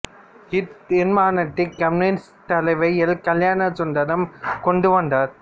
இத் தீர்மானத்தை கம்யூனிசத் தலைவர் எல் கல்யாணசுந்தரம் கொண்டு வந்தார்